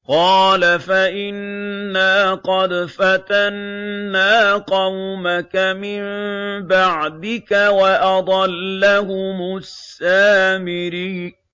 قَالَ فَإِنَّا قَدْ فَتَنَّا قَوْمَكَ مِن بَعْدِكَ وَأَضَلَّهُمُ السَّامِرِيُّ